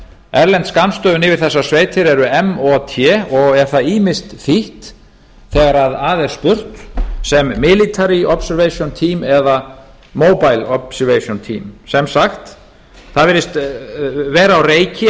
erlend skammstöfun yfir þessar sveitir eru mot og er það ýmist þýtt þegar að er spurt sem military observation team eða mobile observation team það virðist því vera á reiki